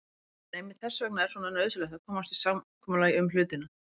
En einmitt þess vegna er svo nauðsynlegt að komast að samkomulagi um hlutina.